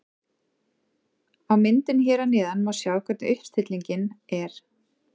Á myndinni hér að neðan má sjá hvernig uppstillingin er.